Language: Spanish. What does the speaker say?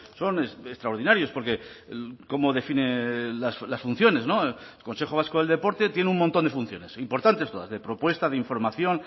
son extraordinarios porque cómo define las funciones no el consejo vasco del deporte tiene un montón de funciones importantes todas de propuesta de información